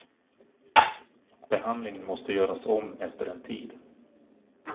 Behandlingen måste göras om efter en tid.